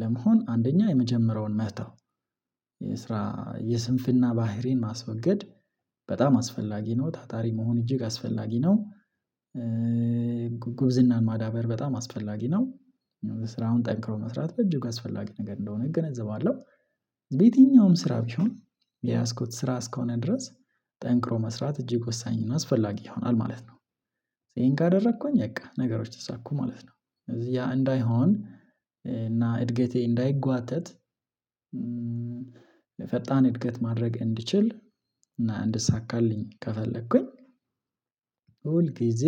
ለመሆን አንደኛ የመጀመሪያውን መተው የስራ የስንፍና ባህሪን ማስወገድ በጣም አስፈላጊ ነው ታታሪ መሆን እጅግ አስፈላጊ ነው። ጉብዝናን ማዳበር በጣም አስፈላጊ ነው። ስራውን ጠንክሮ መስራት በጅግ አስፈላጊ ነገር እንደሆነ እገነዘባለሁ። ስራ ቢሆን የያዝኩት ስራ እስከሆነ ድረስ ጠንክሮ መስራት እጅግ ወሳኝ አስፈላጊ ይሆናል ማለት ነው። ይሄን ካደረኩኝ በቃ ነገሮች ተሳኩ ማለት ነው። እዚህ ያ እንዳይሆን እና እድገቴ እንዳይጓተት የፈጣን እድገት ማድረግ እንድችል እንድሳካልኝ ከፈለኩኝ ሁል ጊዜ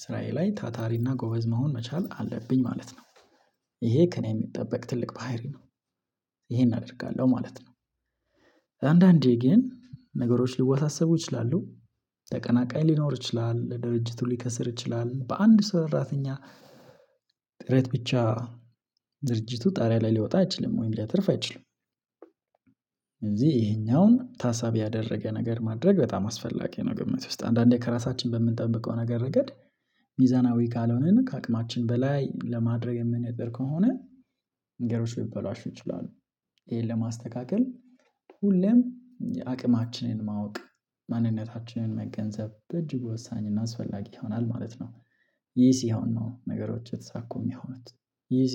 ስራዬ ላይ ታታሪና ጎበዝ መሆን መቻል አለብኝ ማለት ነው። ይሄ ከእኔ የሚጠበቅ ትልቅ ባህሪ ነው። ይሄን አደርጋለሁ ማለት ነው። አንዳንዴ ግን ነገሮች ልወሳሰቡ ይችላሉ ተቀናቃኝ ሊኖር ይችላል ድርጅቱ ሊከስር ይችላል በአንድ ስራተኛ ጥረት ብቻ ድርጅቱ ጣሪያ ላይ ሊወጣ አይችልም ወይም ሊያተርፍ አይችልም። እዚህ ይሄኛውን ታሳቢ ያደረገ ነገር ማድረግ በጣም አስፈላጊ ነው ግምት ውስጥ አንዳንዴ ከራሳችን በምንጠብቀው ነገር ረገድ ሚዛናዊ ካልሆነን ከአቅማችን በላይ ለማድረግ የምንጥር ከሆነ መንገዶች ሊበላሹ ይችላሉ። ይሄን ለማስተካከል ሁሌም አቅማችንን ማወቅ ማንነታችንን መገንዘብ በእጅጉ ወሳኝ እና አስፈላጊ ይሆናል ማለት ነው። ይህ ሲሆን ነው ነገሮች የተሳኩ የሚሆኑት